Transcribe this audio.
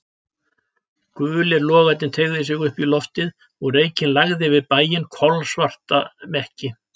Gulir logarnir teygðu sig upp í loftið og reykinn lagði yfir bæinn, kolsvarta mekki.